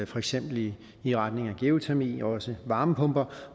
for eksempel i i retning af geotermi og også varmepumper